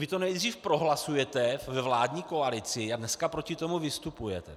Vy to nejdřív prohlasujete ve vládní koalici, a dneska proti tomu vystupujete.